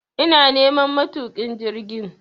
ina neman matukin jirgin